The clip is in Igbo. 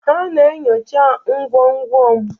Ha na-enyocha ngwongwo m